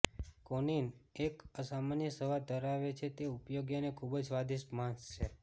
કોનિન એક અસામાન્ય સ્વાદ ધરાવે છે તે ઉપયોગી અને ખૂબ જ સ્વાદિષ્ટ માંસ છે